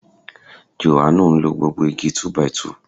Jòhánù ń lo gbogbo igi 2 x 2